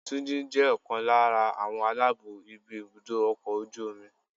Túnjí jẹ́ ọ̀kan lára àwọn aláàbó ibi ibùdó ọkọ̀ ojú omi.